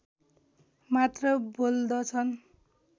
मात्र बोल्दछन्